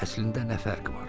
Əslində nə fərq var?